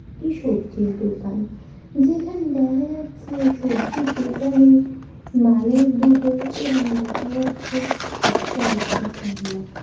এটি সবজির দোকান যেখানে দেখা যাচ্ছে সবজির দোকানে-এ মানুষ দুটো এবং দেখা যাচ্ছে কয়েকটি গামলা।